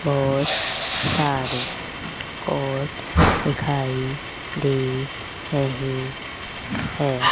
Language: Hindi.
बहोत सारे पॉट दिखाई दे रहे हैं।